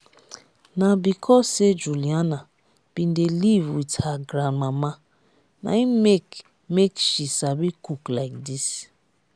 na because say juliana bin dey live with her grandmama na im make make she sabi cook like dis